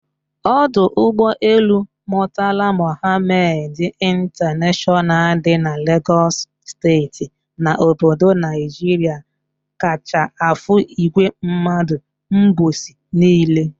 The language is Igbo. Ọdọ ụgbọ elu Murtala Muhammad International dị na Lagos steeti na obodo Naijiria kacha afụ ìgwè mmadụ mgbọsị niile